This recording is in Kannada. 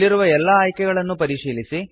ಅಲ್ಲಿರುವ ಎಲ್ಲಾ ಆಯ್ಕೆಗಳನ್ನು ಪರಿಶೀಲಿಸಿ